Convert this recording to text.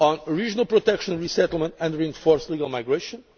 regional protection, resettlement and reinforced legal migration